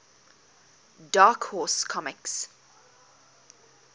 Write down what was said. dark horse comics